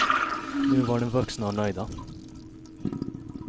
Nu var de vuxna och nöjda.